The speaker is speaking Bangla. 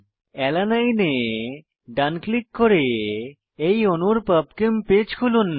অ্যালানিন এ ডান ক্লিক করে এই অণুর পাবচেম পেজ খুলুন